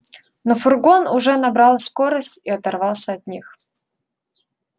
но фургон уже набрал скорость и оторвался от них